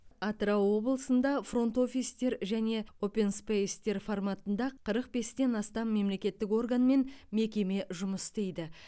атырау облысында фронт офистер және опенспейстер форматында қырық бестен астам мемлекеттік орган мен мекеме жұмыс істейді